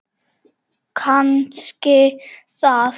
Kannski það.